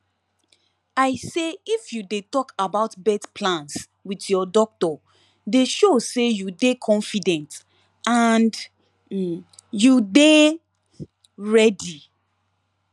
i say if you de talk about birth plans with ur doctor de show say u de confident and um u de um ready